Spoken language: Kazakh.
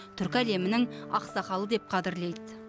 түркі әлемінің ақсақалы деп қадірлейді